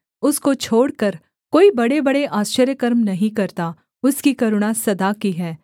उसको छोड़कर कोई बड़ेबड़े आश्चर्यकर्म नहीं करता उसकी करुणा सदा की है